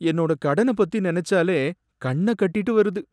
என்னோட கடன பத்தி நினைச்சாலே கண்ண கட்டிட்டு வருது.